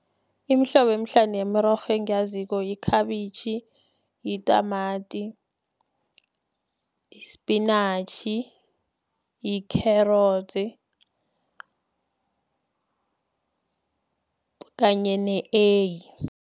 Imihlobo emihlanu yemirorho engiyaziko, yikhabitjhi, yitamati, ispinatjhi, i-carrots, kanye ne-eyi.